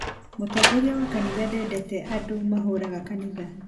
mũtongoria wa kanitha ndeendete andũ mahũraga kanitha